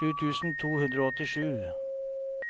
sju tusen to hundre og åttisju